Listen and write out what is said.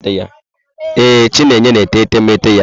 Ee, Chinenye na-ete etemeete ya.